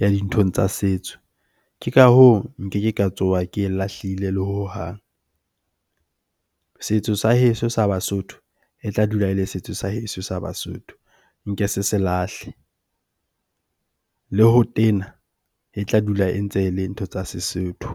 ya dinthong tsa setso. Ke ka hoo, keke ka tsoha ke e lahlile le hohang. Setso sa heso seo sa Basotho e tla dula e le setso sa heso sa Basotho. Nke se se lahle, le ho tena e tla dula e ntse e le ntho tsa Sesotho.